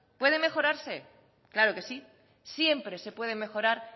puede mejorarse claro que sí siempre se puede mejorar